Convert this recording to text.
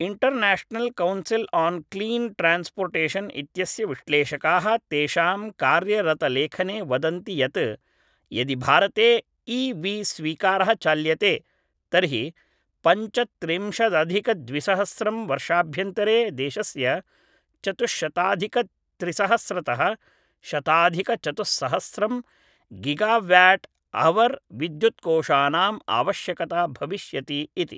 international council on clean transportation इत्यस्य विश्लेषकाः तेषां कार्यरतलेखने वदन्ति यत् यदि भारते इ वि स्वीकारः चाल्यते तर्हि पञ्चत्रिंशदधिकद्विसहस्रं वर्षाभ्यन्तरे देशस्य चतुश्शताधिकत्रिसहस्रतः शताधिकचतुस्सहस्रं गिगाव्याट् हवर् विद्युत्कोशानाम् आवश्यकता भविष्यति इति